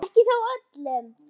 Ekki þó öllum.